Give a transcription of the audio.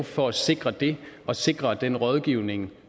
for at sikre det og sikre den rådgivning